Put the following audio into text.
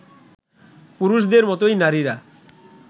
পুরুষদের মতোই নারীরা